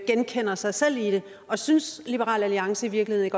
genkalder sig selv i det og synes liberal alliance i virkeligheden